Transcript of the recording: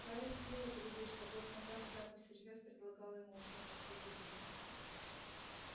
гарри скрыл от друзей что год назад шляпа всерьёз предлагала ему учиться в слизерине